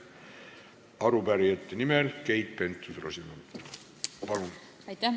Arupärijate nimel Keit Pentus-Rosimannus, palun!